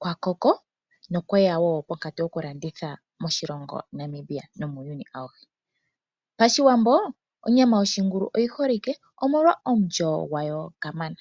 kwa koko nokweya pankatu yokulanditha moNamibia nomuuyuni auhe. Pashiwambo onyama yoshingulu oyi holike, omolwa omulyo gwayo kamana.